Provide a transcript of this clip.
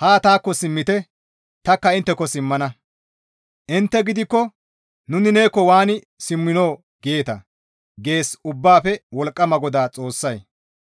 haa taakko simmite tanikka intteko simmana; Intte gidikko, ‹Nuni neekko waani simminoo?› geeta» gees Ubbaafe Wolqqama GODAA Xoossay.